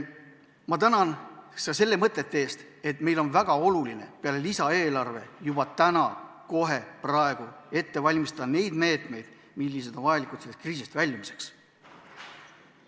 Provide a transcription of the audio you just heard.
Samuti tänan ma nende mõtete eest, et meie jaoks on peale lisaeelarve vastuvõtmise väga oluline valmistada juba täna, kohe praegu ette ka need meetmed, mida läheb vaja sellest kriisist väljumiseks.